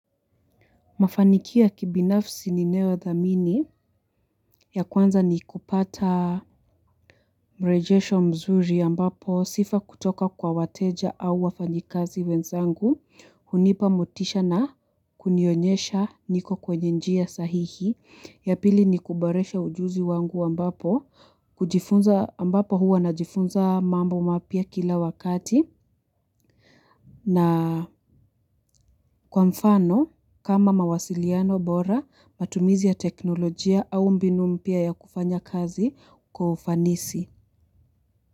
Mafanikio kibinafsi ninayoyadhamini ya kwanza ni kupata mrejesho mzuri ambapo sifa kutoka kwa wateja au wafanyikazi wenzangu, hunipa motisha na kunionyesha niko kwenye njia sahihi, ya pili ni kuboresha ujuzi wangu ambapo, hujifunza ambapo huwa na jifunza mambo mapya kila wakati na kwamfano kama mawasiliano bora matumizi ya teknolojia au mbinu mpya ya kufanya kazi kwa ufanisi.